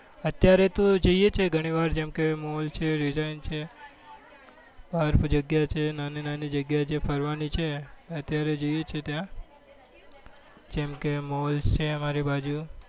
અત્યારે તો જઈએ છીએ ગણી વાર જેમ કે mall છે park જગ્યા છે નાની નાની જગ્યા જે ફરવા ની છે અત્યારે જઈએ છીએ ત્યાં જેમ કે mall છે અમારી બાજુ